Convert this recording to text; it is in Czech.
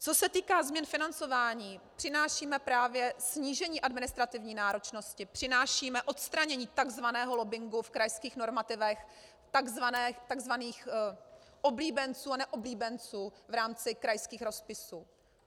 Co se týká změn financování, přinášíme právě snížení administrativní náročnosti, přinášíme odstranění tzv. lobbingu v krajských normativech, tzv. oblíbenců a neoblíbenců v rámci krajských rozpisů.